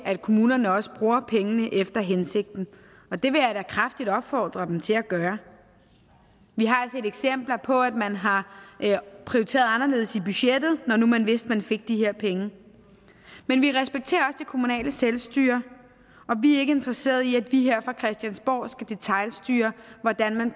at kommunerne også bruger pengene efter hensigten det vil jeg da kraftigt opfordre dem til at gøre vi har set eksempler på at man har prioriteret anderledes i budgettet når man vidste at man fik de her penge men vi respekterer det kommunale selvstyre og vi er ikke interesserede i at vi her fra christiansborg skal detailstyre hvordan